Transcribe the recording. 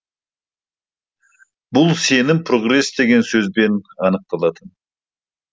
бұл сенім прогресс деген сөзбен анықталатын